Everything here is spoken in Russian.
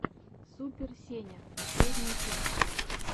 супер сеня последняя часть